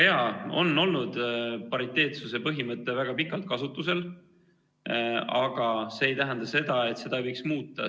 Jaa, pariteetsuse põhimõte on olnud väga pikalt kasutusel, kuid see ei tähenda seda, et seda ei võiks muuta.